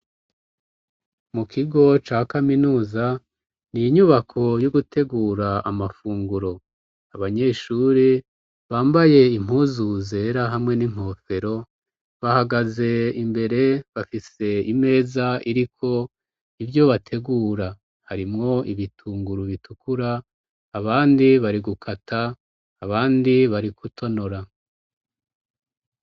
Mu kigo ca kaminuza, ni inyubako yo gutegura amafunguro. Abanyeshuri bambaye impuzu zera hamwe n'inkofero, bahagaze imbere, bafise imeza iriko ivyo bategura. Harimwo ibitunguru bitukura abandi bari gukata abandi bari gutonora.